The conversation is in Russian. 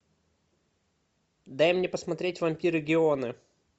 дай мне посмотреть вампиры геоны